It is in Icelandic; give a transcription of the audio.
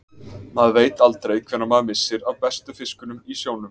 Maður veit aldrei hvenær maður missir af bestu fiskunum í sjónum.